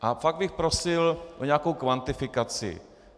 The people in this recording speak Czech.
A pak bych prosil o nějakou kvantifikaci.